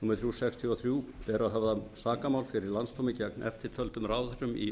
númer þrjú nítján hundruð sextíu og þrjú ber að höfða sakamál fyrir landsdómi gegn eftirtöldum ráðherrum í